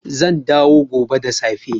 Zan dawo gobe da safe